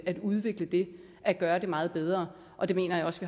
at udvikle det at gøre det meget bedre og det mener jeg også